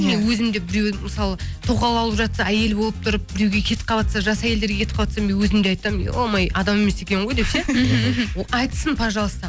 мен өзім де біреу мысалы тоқал алып жатса әйелі болып тұрып біреуге кетіп қаватса жас әйелдерге кетіп қаватса мен өзім де айтамын ё ма ё адам емес екен ғой деп ше мхм мхм ол айтсын пожалуйста